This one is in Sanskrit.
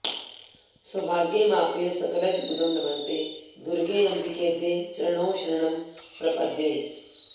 सौभाग्यमाप्य सकलञ्च मुदं लभन्ते दुर्गेऽम्बिकेऽद्य चरणौ शरणं प्रपद्ये